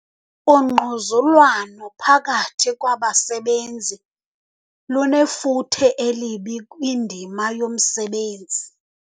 Ungquzulwano phakathi kwabasebenzi lunefuthe elibi kwindima yomsebenzi.